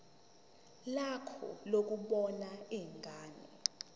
lakho lokubona ingane